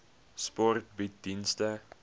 sport bied dienste